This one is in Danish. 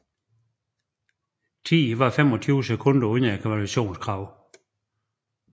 Tiden var 25 sekunder under kvalifikationskravet